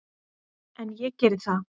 En ég geri það.